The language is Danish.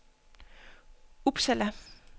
Uppsala